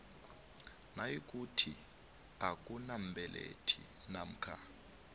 nayikuthi akunambelethi namkha